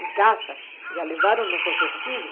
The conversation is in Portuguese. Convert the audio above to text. em casa já levaram nossos vestidos